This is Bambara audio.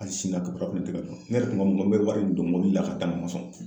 Hali sini a . Ne yɛrɛ tun ko ŋo n bɛ wari in don mobili la k''a d'a ma a ma sɔn